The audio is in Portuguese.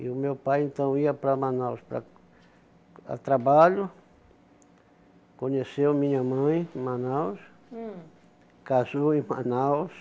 E o meu pai, então, ia para Manaus para a trabalho, conheceu minha mãe em Manaus, casou em Manaus,